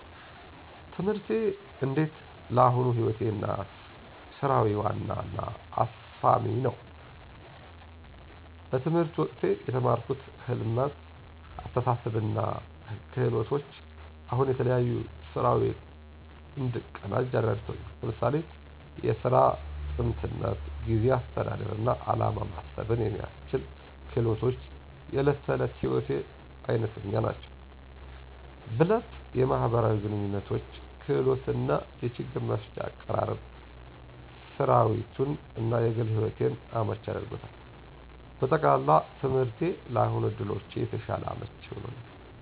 ትምህርቴ እንዴት ለአሁኑ ሕይወቴ እና ሥራዊ ዋና እና አስፋሚ ነው። በትምህርት ወቅቴ የተማርኩት ህልመት፣ አስተሳሰብ እና ክህሎቶች አሁን የተለያዩ ሥራዊ እንድቀናጅ እረድቱኛ። ለምሳሌ፣ የሥራ �ጥንትነት፣ ጊዜ አስተዳደር እና ዓላማ ማሰብን የሚያስችሉ ክህሎቶች � የእለት ተእለት ሕይወቴ አይነተኛ ናቸው። ብለጥ የማህበራዊ ግንኙነቶች ክህሎት እና የችግር መፍታት አቀራረብ ሥራዊቱን እና የግል ሕይወቴን አመቺ አድርጎታል። በጠቅላላ፣ ትምህርቴ ለአሁን ዕድሎቼ የተሻለ አመቺ ሆኖኛል።